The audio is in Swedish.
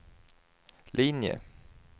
linje